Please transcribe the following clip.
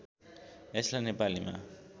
यसलाई नेपालीमा